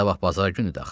Sabah bazar günüdür axı.